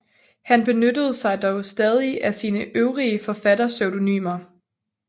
Han benyttede sig dog stadig af sine øvrige forfatterpseudonymer